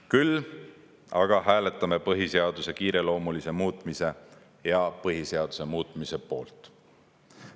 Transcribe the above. Küll aga hääletame põhiseaduse kiireloomulise muutmise ja põhiseaduse muutmise poolt.